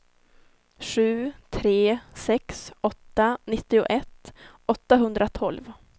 sju tre sex åtta nittioett åttahundratolv